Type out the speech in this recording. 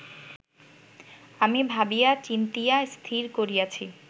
আমি ভাবিয়া চিন্তিয়া স্থির করিয়াছি